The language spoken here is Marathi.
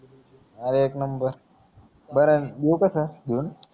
आरे एक नंबर बरन लिऊ कसा